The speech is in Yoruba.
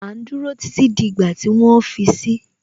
À ń dúró títí di ìgbà tí wọ́n fi si